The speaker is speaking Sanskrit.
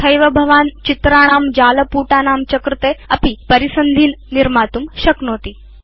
तथैव भवान् चित्राणां जालपुटानां च कृते अपि परिसन्धीन् निर्मातुं शक्नोति